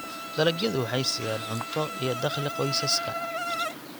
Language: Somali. Dalagyadu waxay siiyaan cunto iyo dakhli qoysaska.